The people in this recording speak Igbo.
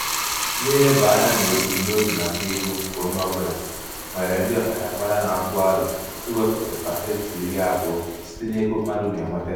n'ileba anya n'ebumnobi maka ego nke onye ọbụla nwere ndị ọkachamara na-atụ aro iwepụta pasentị iri abụọ iri abụọ site n'ego mmadụ na-enweta.